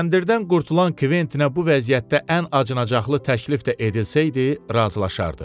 Kəndirdən qurtulan Kventinə bu vəziyyətdə ən acınacaqlı təklif də edilsəydi, razılaşardı.